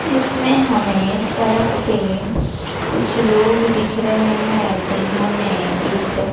इसमें हमें सड़क पे कुछ लोग दिख रहे हैं जिन्होंने एक--